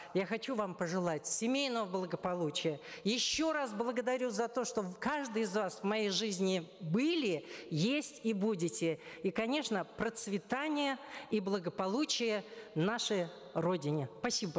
я хочу вам пожелать семейного благополучия еще раз благодарю за то что каждый из вас в моей жизни были есть и будете и конечно процветания и благополучия нашей родине спасибо